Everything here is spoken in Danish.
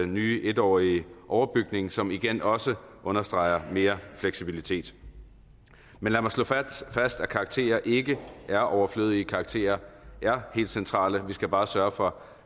nye etårige overbygning som igen også understreger mere fleksibilitet men lad mig slå fast at karakterer ikke er overflødige karakterer er helt centrale vi skal bare sørge for